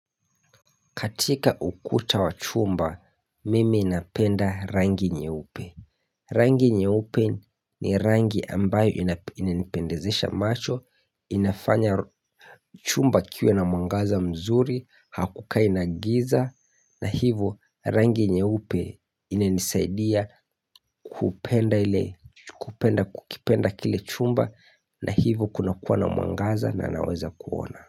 Katika ukuta wa chumba, mimi inapenda rangi nyeupe. Rangi nyeupe ni rangi ambayo inipendezesha macho, inafanya chumba kiwe na mwangaza mzuri, hakukai na giza, na hivo rangi nyeupe inanisaidia kupenda kukipenda kile chumba na hivo kuna kuwa na mwangaza na naweza kuona.